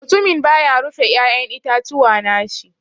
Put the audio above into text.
Mutumin ba ya rufe ya'yan itatuwa na shi.